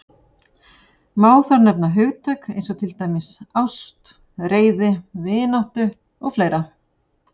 Má þar nefna hugtök eins og til dæmis ást, reiði, vináttu og fleira.